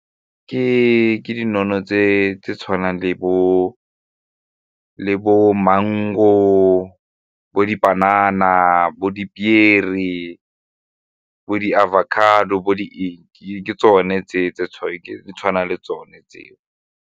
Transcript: Ke tse tshwanang le bo mango, bo dipanana, bo dipiere, le bo di-avocado, bo ke tsone tse tse di tshwanang le tsone tseo.